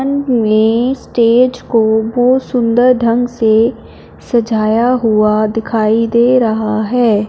मैं स्टेज को बहोत सुंदर ढंग से सजाया हुआ दिखाई दे रहा है।